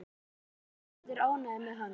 Ég vona að þú verðir ánægður með hana.